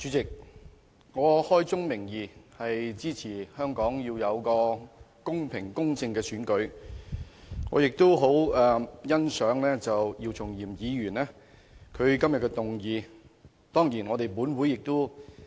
主席，開宗明義，我支持香港的特首選舉必須公平、公正，我也很欣賞姚松炎議員今天提出這項議案辯論。